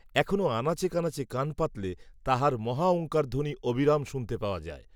এখনও, আনাচে কানাচে কান পাতিলে, তাহার মহাওঙ্কারধ্বনি অবিরাম শুনিতে পাওয়া যায়